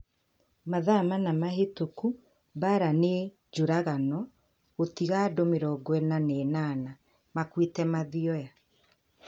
Mathaa mana mahĩtũku Mbaara nĩ njũragano gũtiga andũ mĩrongo ina na inana makuĩte Mathioya